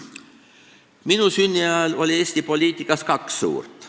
Minu sünni ajal oli Eesti poliitikas kaks suurt.